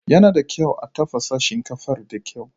Yana da kyau a tafasa shinkafar da kyau.